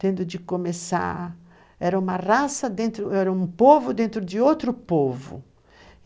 tendo de começar... Era uma raça dentro... Era um povo dentro de outro povo.